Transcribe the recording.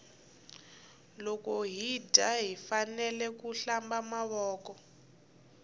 loko hi dya hifanekele ku hlamba mavoko